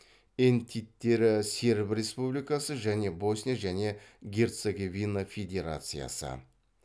энтиттері серб республикасы және босния және герцеговина федерациясы